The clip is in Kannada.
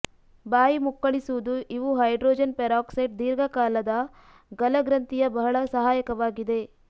ಬಾಯಿ ಮುಕ್ಕಳಿಸುವುದು ಇವು ಹೈಡ್ರೋಜನ್ ಪೆರಾಕ್ಸೈಡ್ ದೀರ್ಘಕಾಲದ ಗಲಗ್ರಂಥಿಯ ಬಹಳ ಸಹಾಯಕವಾಗಿದೆ